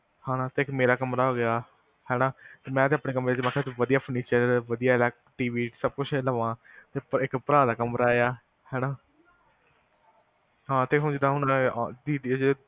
ਹਾਂ ਤੇ ਇੱਕ ਮੇਰਾ ਕਮਰਾ ਹੋ ਗਿਆ ਹੈਨਾ ਮੈਂ ਤੇ ਆਪਣੇ ਕਮਰੇ ਚ ਵਧਿਆ ਵਧਿਆ ਟੀਵੀ ਸਬ ਕੁਸ਼ ਲਵਾ ਇੱਕ ਭਰਾ ਦਾ ਕਮਰਾ ਆ ਹੈਨਾ ਹਾਂ ਤੇ ਹੁਣ ਜਿੱਦਾਂ